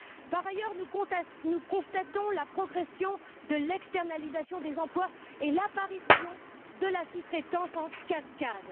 Par ailleurs, nous constatons une progression de l'externalisation des emplois et l'apparition de la sous traitance en cascade.